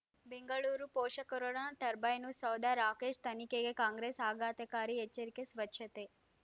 ಬೆಂಗಳೂರು ಪೋಷಕರಋಣ ಟರ್ಬೈನು ಸೌಧ ರಾಕೇಶ್ ತನಿಖೆಗೆ ಕಾಂಗ್ರೆಸ್ ಆಘಾತಕಾರಿ ಎಚ್ಚರಿಕೆ ಸ್ವಚ್ಛತೆ